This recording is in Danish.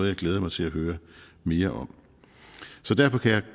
jeg glæder mig til at høre mere om så derfor kan